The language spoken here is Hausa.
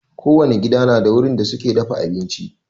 Kowane gida na da wurin da suke dafa abinci.